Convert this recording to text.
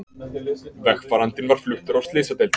Vegfarandinn var fluttur á slysadeild